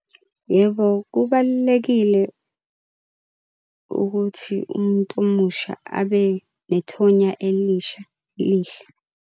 Yebo, kubalulekile ukuthi umuntu omusha abe nethonya elisha lihla.